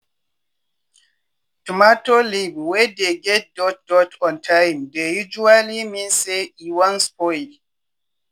tomato leave wey dey get dot dot on time dey usually mean say e wan spoil.